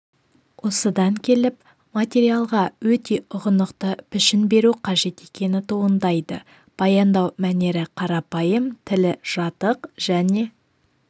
осыдан келіп материалға өте ұғынықты пішін беру қажет екені туындайды баяндау мәнері қарапайым тілі жатық және